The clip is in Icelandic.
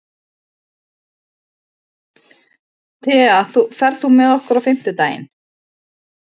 Thea, ferð þú með okkur á fimmtudaginn?